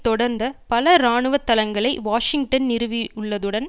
தொடர்ந்த பல இராணுவ தளங்ளை வாஷிங்டன் நிறுவி உள்ளதுடன்